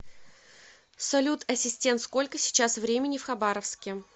салют ассистент сколько сейчас времени в хабаровске